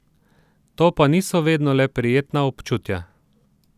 To pa niso vedno le prijetna občutja.